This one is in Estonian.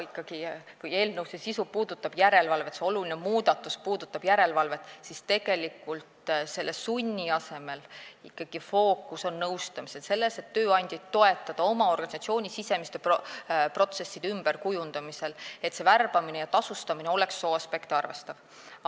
Kuigi eelnõu sisu, see oluline muudatus puudutab järelevalvet, siis sunni asemel on fookus ikkagi nõustamisel, et tööandjaid toetada organisatsiooni sisemiste protsesside ümberkujundamisel, nii et värbamine ja tasustamine oleks sooaspekte arvestatav.